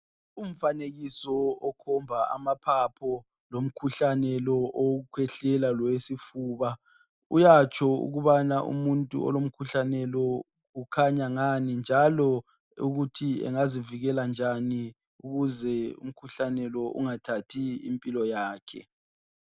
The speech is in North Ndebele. Umfanekiso okhomba amaphapho lomkhuhlane lo owokukhwehlela lowesifuba uyatsho ukubana umuntu olomkhuhlane lo ukhanya ngani njalo ukuthi engazivikela kanjani ukuze umkhuhlane lo ungathathi impilo yakhe